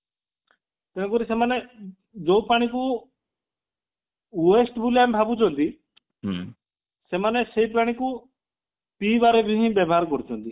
ତେଣୁକରି ସେମାନେ ଯୋଉ ପାଣି କୁ waste ବୋଲି ଆମେ ଭାବୁଛନ୍ତି ସେମାନେ ସେଇ ପାଣିକୁ ପିଇବାରେ ହିଁ ବ୍ୟବହାର କରୁଛନ୍ତି